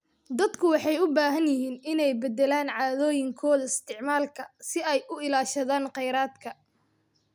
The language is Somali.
Dadku waxay u baahan yihiin inay beddelaan caadooyinkooda isticmaalka si ay u ilaashadaan kheyraadka.